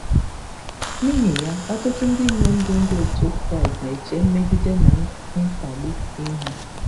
N’ihi ya, ọtụtụ ndị inyom bụ ndị otu Kraịst na-eche mmegide na mkpagbu ihu.